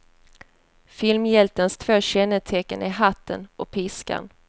Filmhjältens två kännetecken är hatten och piskan.